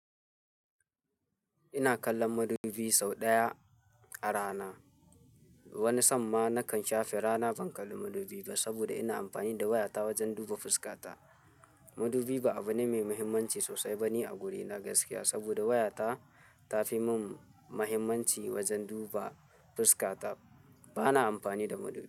Ina kallon madubi sau ɗaya a rana. Wani samma nakan shafe rana ban kalli madubi ba saboda ina amfani da wayata wajen duba fuskata. Madubi ba abune mai muhimmanci sosai bane a wurina gaskiya saboda wayata ta fi mun muhimmanci wajen duba fuska ta. Bana amfani da madubi.